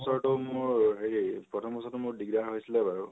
বছৰটো মোৰ হেৰি, প্ৰথম বছৰটো মোৰ, দিগ্দাৰ হৈছিলে বাৰু